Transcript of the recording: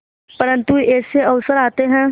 परंतु ऐसे अवसर आते हैं